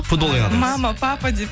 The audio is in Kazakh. футбол ойнадыңыз мама папа деп